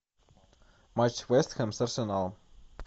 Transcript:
матч вест хэм с арсеналом